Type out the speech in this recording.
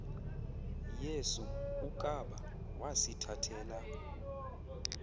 yesu ukaba wasithathela